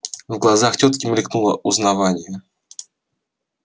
в глазах тётки мелькнуло узнавание